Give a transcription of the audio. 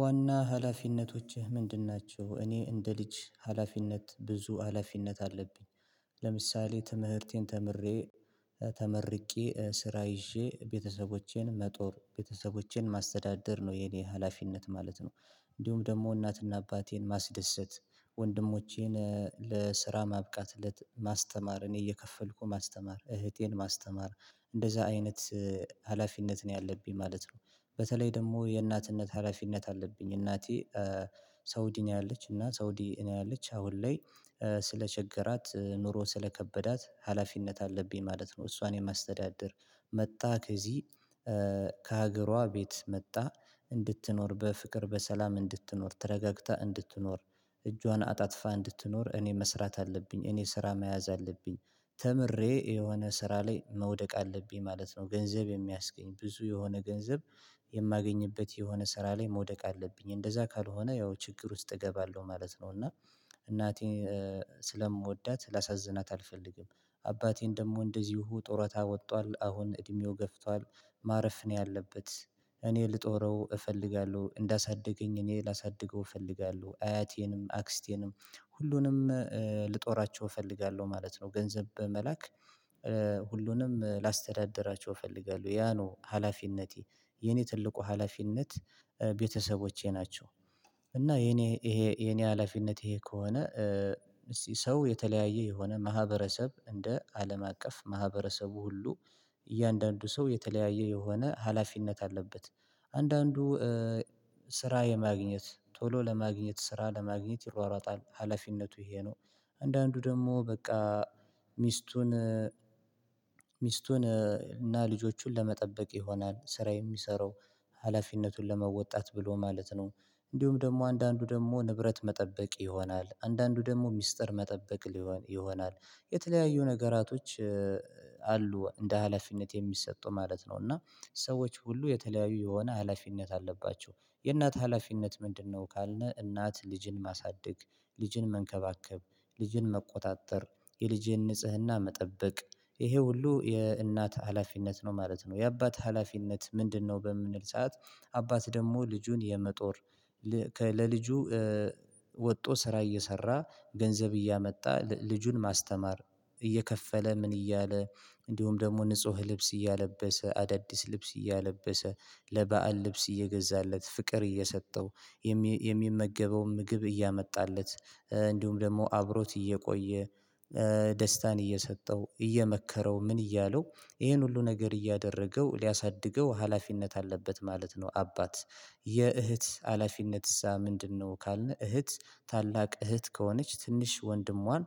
ዋና ሀላፊነቶችህ ምንድን ናቸው? እኔ እንደ ልጅ ሀላፊነት ብዙ ሀላፊነት አለብኝ ለምሳሌ ትምህርቴን ተምሬ ተመርቄ ስራ ይዤ ቤተሰቦቼን መጦር ቤተሰቦቼን ማስተዳደር ነው የኔ ሀላፊነት ማለት ነው። እንዲሁም ደግሞ እናትና አባቴን ማስደሰት ወንድሞቼን ለስራ ማብቃት ማስተማር እኔ እየከፈልኩ ማስተማር እህቴን ማስተማር እንደዛ አይነት ሀላፊነት ነው ያለብኝ ማለት ነው። በተለይ ደግሞ የእናትነት ሀላፊነት አለብኝ እናቴ ሳውዲ ነው ያለች እና ሳውዲ ነው ያለች አሁን ላይ ስለቸገራት ኑሮ ስለከበዳት ሀላፊነት አለብኝ ማለት ነው። እሷን የማስተዳደር መጣ ከዚህ ከሀገሯ ቤት መጣ እንድትኖር በፍቅር በሰላም እንድትኖር ተረጋግታ እንድትኖር እጇን አጣጥፋ እንድትኖር እኔ መስራት አለብኝ እኔ ስራ መያዝ አለብኝ። ተምሬ የሆነ ስራ ላይ መውደቅ አለብኝ ማለት ነው ገንዘብ የሚያስገኝ ብዙ የሆነ ገንዘብ የማገኝበት የሆነ ስራ ላይ መውደቅ አለብኝ እንደዛ ካልሆነ ያው ችግር ውስጥ እገባለሁ ማለት ነው። እና እናቴን ስለምወዳት ላሳዝናት አልፈልግም። አባቴን ደግሞ እንደዚሁ ጡረታ ወጥቷል አሁን እድሜው ገፍቷል ማረፍ ነው ያለበት። እኔ ልጦረው እፈልጋለሁ እንዳሳደገኝ እኔ ላሳድገው እፈልጋለሁ አያቴንም አክስቴንም ሁሉንም ልጦራቸው እፈልጋለሁ ማለት ነው። ገንዘብ በመላክ ሁሉንም ላስተዳድራቸው እፈልጋለሁ ያ ነው ሀላፊነቴ የኔ ትልቁ ሀላፊነት ቤተሰቦቼ ናቸው። እና የኔ ይሄ የኔ ሀላፊነት ይሄ ከሆነ ሰው የተለያየ የሆነ ማህበረሰብ እንደ አለም አቀፍ ማህበረሰቡ ሁሉ እያንዳንዱ ሰው የተለያየ የሆነ ሀላፊነት አለበት። አንዳንዱ ስራ የማግኘት ቶሎ ለማግኘት ስራ ለማግኘት ይሯሯጣል ሀላፊነቱ ይሄ ነው። አንዳንዱ ደግሞ በቃ ሚስቱን ሚስቱን እና ልጆቹን ለመጠበቅ ይሆናል ስራ የሚሰራው ሀላፊነቱን ለመወጣት ብሎ ማለት ነው። እንዲሁም ደግሞ አንዳንዱ ደግሞ ንብረት መጠበቅ ይሆናል አንዳንዱ ደግሞ ሚስጥር መጠበቅ ይሆናል የተለያዩ ነገራቶች አሉ እንደ ሀላፊነት የሚሰጡ ማለት ነው። እና ሰዎች ሁሉ የተለያዩ የሆነ ሀላፊነት አለባቸው። የእናት ሀላፊነት ምንድነው? ካልነ እናት ልጅን ማሳደግ ልጅን መንከባከብ ልጅን መቆጣጠር የልጅን ንጽህና መጠበቅ ይሄ ሁሉ የእናት ሀላፊነት ነው ማለት ነው። የአባት ሀላፊነት ምንድነው? በምንል ሰዓት አባት ደግሞ ልጁን የመጦር ለልጁ ወጥቶ ስራ እየሰራ ገንዘብ እያመጣ ልጁን ማስተማር እየከፈለ ምን እያለ እንዲሁም ደግሞ ንጹህ ልብስ እያለበሰ አዳዲስ ልብስ እያለበሰ ለበአል ልብስ እየገዛለት ፍቅር እየሰጠው የሚመገበውን ምግብ እያመጣለት እንዲሁም ደግሞ አብሮት እየቆየ ደስታን እየሰጠው እየመከረው ምን እያለው ይሄን ሁሉ ነገር እያደረገው ሊያሳድገው ሀላፊነት አለበት ማለት ነው። አባት የእህት ሀላፊነትስ ምንድነው? ካልነ እህት ታላቅ እህት ከሆነች ትንሽ ወንድሟን